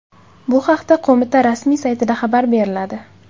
Bu haqda qo‘mita rasmiy saytida xabar beriladi .